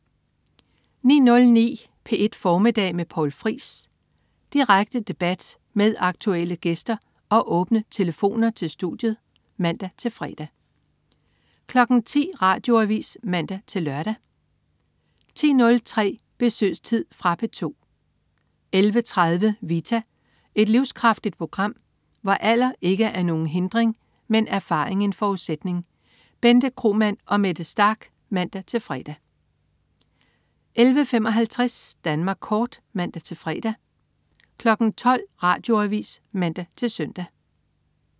09.09 P1 Formiddag med Poul Friis. Direkte debat med aktuelle gæster og åbne telefoner til studiet (man-fre) 10.00 Radioavis (man-lør) 10.03 Besøgstid. Fra P2 11.30 Vita. Et livskraftigt program, hvor alder ikke er nogen hindring, men erfaring en forudsætning. Bente Kromann og Mette Starch (man-fre) 11.55 Danmark Kort (man-fre) 12.00 Radioavis (man-søn)